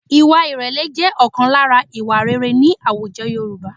Ìwà ìrẹ̀lẹ̀ jẹ́ ọ̀kan lára ìwà rere ní àwùjọ Yorùbá